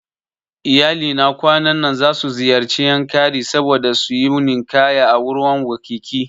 Iyalina kwanan nan zasu ziyarci Yankari saboda suyi ninkaya a ruwan wkiki